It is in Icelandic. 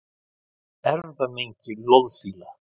Erfðamengi loðfíla